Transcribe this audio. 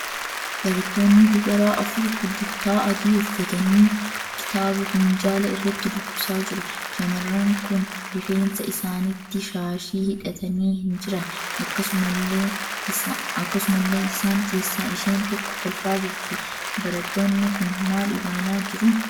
Barattoonni dubaraa afur kullittaa adii uffatanii kitaaba minjaala irratti dubbisaa jiru. shamarran kun rifeensa isaaniitti shaashii hidhatanii hin jiran. Akkasumallee isaan keessaa isheen tokko kolfaa jirti. Barattoonni kun maal ilaalaa jiru?